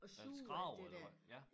Og suger alt det der